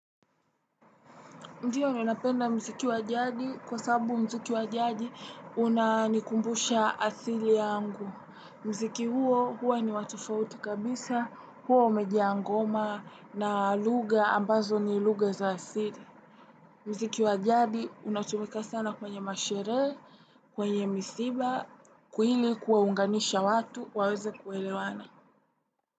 Ndiyo ninapenda mziki wa jadi kwa sabu mziki wjadi unanikumbusha asili yangu. Mziki huo huwa ni wa tofauti kabisa, huo umejiaa ngoma na lugha ambazo ni lugha za asili. Mziki wa jadi unatumika sana kwenye masherehe, kwenye misiba, ili kuwaunganisha watu, waweze kuelewana.